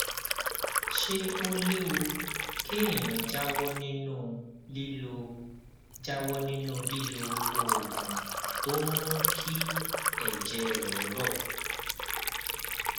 ṣé ó léwu kéèyàn jáwó nínú lílo jáwó nínú lílo oògùn tó ń mú kí èjè rè rò